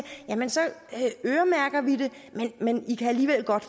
jamen så øremærker vi det men i kan alligevel godt